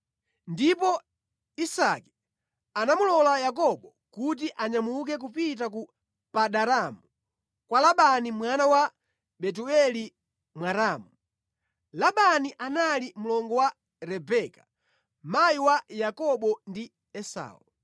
Ndipo Isake anamulola Yakobo kuti anyamuke kupita ku Padanaramu kwa Labani mwana wa Betueli Mwaramu. Labani anali mlongo wa Rebeka, mayi wa Yakobo ndi Esau.